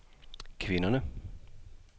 kvinderne